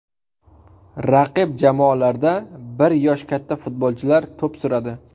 Raqib jamoalarda bir yosh katta futbolchilar to‘p suradi.